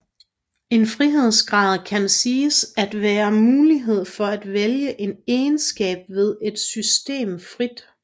En frihedsgrad kan siges at være muligheden for at vælge en egenskab ved et system frit